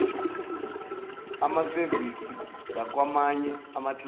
amasevisi zakwamanye amaklasi